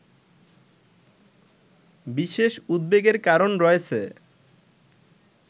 বিশেষ উদ্বেগের কারণ রয়েছে